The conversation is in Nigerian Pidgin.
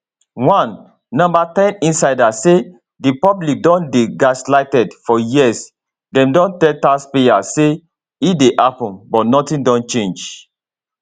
one no ten insider say di public don dey gaslighted for years dem don tell taxpayers say e dey happun but nothing don change